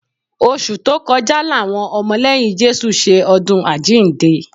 Oṣù tó kọjá làwọn ọmọ lẹ́yìn Jésù ṣe ọdún àjíǹde